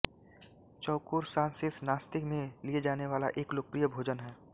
चौकोर सॉसेज नाश्ते में लिए जाने वाला एक लोकप्रिय भोजन है